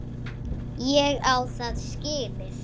Ég á það skilið.